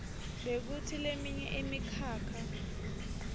bekutsi leminye imikhakha